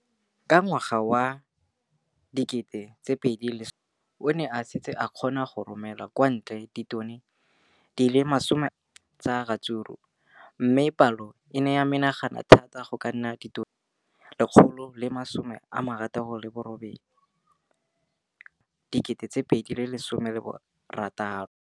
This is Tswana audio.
Ka ngwaga wa 2015, o ne a setse a kgona go romela kwa ntle ditone di le 31 tsa ratsuru mme palo eno e ne ya menagana thata go ka nna ditone di le 168 ka ngwaga wa 2016.